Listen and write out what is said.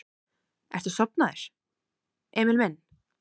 Ertu sofnaður, Emil minn?